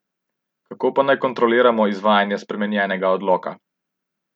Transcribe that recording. Kako pa naj kontroliramo izvajanje spremenjenega odloka?